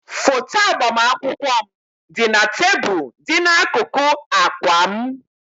Foto agbamakwụkwọ m dị na tebụl dị n'akụkụ akwa m